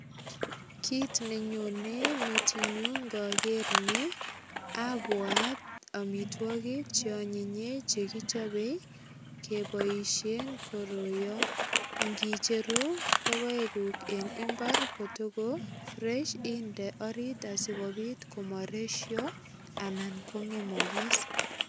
Kit ne nyone metinyu ngager ni abwat amitwogik che anyinye che kichope keboisien koroiyon. Ngicheru logoeguk en imbar kotogo fresh inde orit asigopit komaresyo anan ko ngemagis.